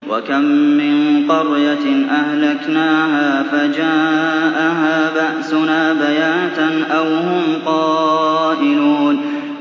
وَكَم مِّن قَرْيَةٍ أَهْلَكْنَاهَا فَجَاءَهَا بَأْسُنَا بَيَاتًا أَوْ هُمْ قَائِلُونَ